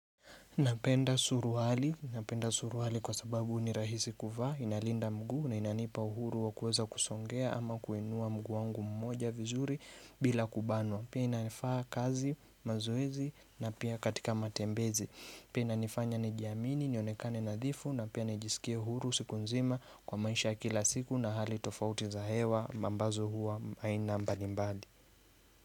Napenda suruali, napenda suruali kwa sababu ni rahisi kuvaa, inalinda mguu, na inanipa uhuru wa kuweza kusongea ama kuinua mguu wangu mmoja vizuri bila kubanwa. Pia inanifaa kazi mazoezi na pia katika matembezi. Pia inanifanya nijiamini, nionekane nadhifu na pia najisikie huru siku nzima kwa maisha ya kila siku na hali tofauti za hewa ambazo huwa aina mbalimbali.